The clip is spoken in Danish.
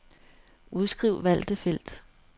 Udskriv valgte felt.